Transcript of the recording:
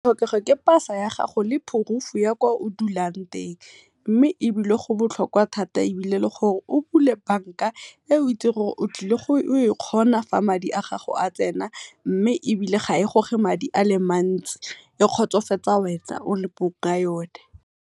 Tlhokego ke pasa ya gago le proof-u ya kwa o dulang teng mme ebile go botlhokwa thata ebile le gore o bule bank-a, e o itsing gore o tlile go e kgona fa madi a gago a tsena, mme ebile ga e gore madi a le mantsi e kgotsofatsa wena o le mong wa yone.